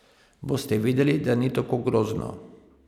Boste videli, da ni tako grozno.